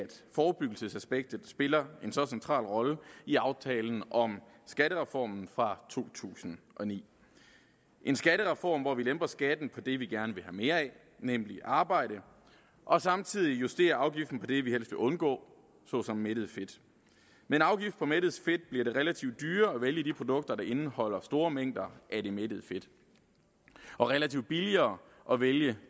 forebyggelsesaspektet spiller en så central rolle i aftalen om skattereformen fra to tusind og ni en skattereform hvor vi lemper skatten på det vi gerne vil have mere af nemlig arbejde og samtidig justerer afgiften på det vi helst undgå såsom mættet fedt med en afgift på mættet fedt bliver det relativt dyrere at vælge de produkter der indeholder store mængder af det mættede fedt og relativt billigere at vælge